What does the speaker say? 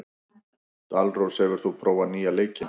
Dalrós, hefur þú prófað nýja leikinn?